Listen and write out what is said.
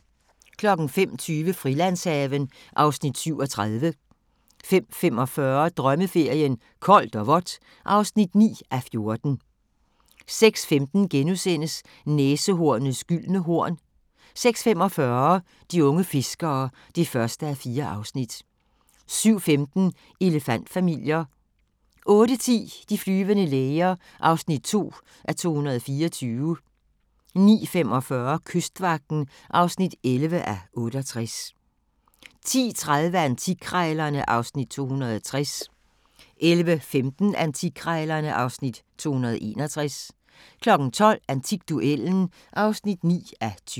05:20: Frilandshaven (Afs. 37) 05:45: Drømmeferien: Koldt og vådt (9:14) 06:15: Næsehornets gyldne horn * 06:45: De unge fiskere (1:4) 07:15: Elefant-familier 08:10: De flyvende læger (2:224) 09:45: Kystvagten (11:68) 10:30: Antikkrejlerne (Afs. 260) 11:15: Antikkrejlerne (Afs. 261) 12:00: Antikduellen (9:20)